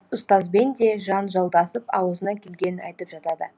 ұстазбен де жанжалдасып ауызына келгенін айтып жатады